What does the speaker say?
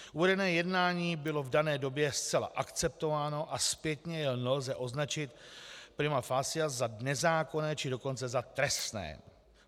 Uvedené jednání bylo v dané době zcela akceptováno a zpětně jej nelze označit prima facie za nezákonné, či dokonce za trestné.